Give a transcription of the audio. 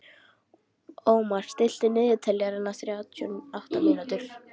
Ómar, stilltu niðurteljara á þrjátíu og átta mínútur.